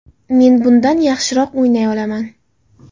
Men bundan yaxshiroq o‘ynay olaman”.